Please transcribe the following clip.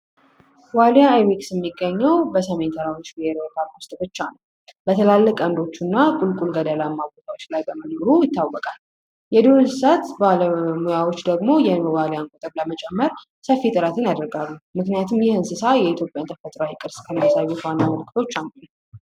ዋልያ አይቤክስ የሚገኘው በሰሜን ተራሮች ብሔራዊ ፓርክ ብቻ ነው በተላለቅ ቀልዶች እና በተራራማ አካባቢዎች ላይ መኖሩ ይታወቃል የዱር እንስሳት ባለሙያዎች ደግሞ ይህንን ዋሊያ ግዛት ለመጨመር ሰፊ ጥረት ያደርጋሉ ምክንያቱም ይህ እንስሳ የኢትዮጵያ ተፈጥሯዊ ቅርሶች ከሆኑት አንዱ ነው።